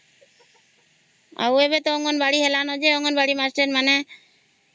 ଆଉ ଏବେ ତ ଅଙ୍ଗନବାଡି ହେଲା ମାଷ୍ଟ୍ର ମାନେ